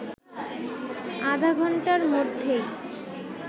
আধাঘন্টার মধ্যেই